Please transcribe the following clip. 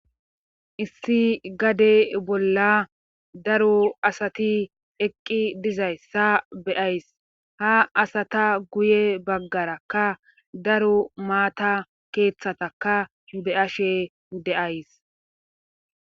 issi gade bolla daro asati eqqi dizayssa beyays ha asata guye baggarakka daro maata keeththataka be'ashe de'ays